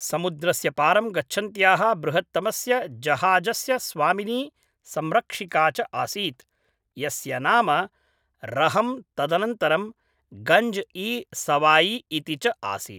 समुद्रस्य पारं गच्छन्त्याः बृहत्तमस्य जहाजस्य स्वामिनी संरक्षिका च आसीत्, यस्य नाम रहम् तदनन्तरं गञ्ज इ सवाई इति च आसीत्